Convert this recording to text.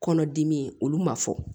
Kɔnɔdimi olu ma fɔ